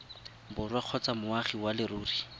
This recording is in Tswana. borwa kgotsa moagi wa leruri